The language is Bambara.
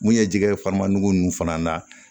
Mun ye jɛgɛ farimagun ninnu fana na